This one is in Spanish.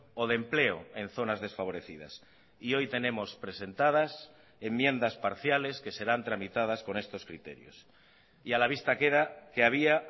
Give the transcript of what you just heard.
o de empleo en zonas desfavorecidas y hoy tenemos presentadas enmiendas parciales que serán tramitadas con estos criterios y a la vista queda que había